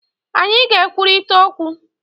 Anyị ga-ekwurịta okwu